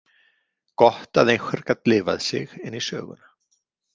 Gott að einhver gat lifað sig inn í söguna.